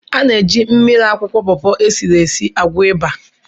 Ana-eji mmiri akwụkwọ pọpọ esiri esi agwọ̀ ịba.